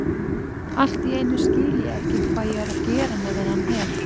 Allt í einu skil ég ekki hvað ég er að gera með þennan hel